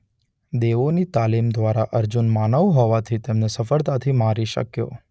દેવોની તાલીમ દ્વારા અર્જુન માનવ હોવાથી તેમને સફળતાથી મારી શક્યો.